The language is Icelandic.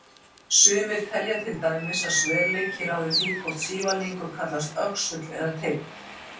Sumir telja til dæmis að sverleiki ráði því hvort sívalningur kallast öxull eða teinn.